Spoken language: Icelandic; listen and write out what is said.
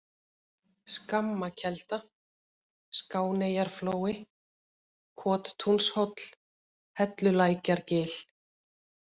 Skammakelda, Skáneyjarflói, Kottúnshóll, Hellulækjargil